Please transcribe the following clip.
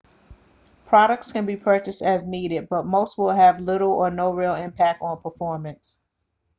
products can be purchased as needed but most will have little or no real impact on performance